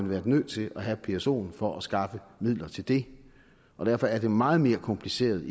været nødt til at have psoen for at skaffe midler til det og derfor er det meget mere kompliceret